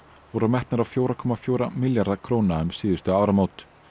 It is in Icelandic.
voru metnar á fjögur komma fjóra milljarða króna um síðustu áramót